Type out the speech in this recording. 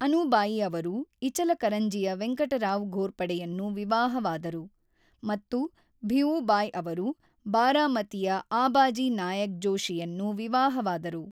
ಅನುಬಾಯಿ ಅವರು ಇಚಲಕರಂಜಿಯ ವೆಂಕಟರಾವ್ ಘೋರ್ಪಡೆಯನ್ನು ವಿವಾಹವಾದರು ಮತ್ತು ಭಿಉಬಾಯಿ ಅವರು ಬಾರಾಮತಿಯ ಆಬಾಜಿ ನಾಯಕ್ ಜೋಶಿಯನ್ನು ವಿವಾಹವಾದರು.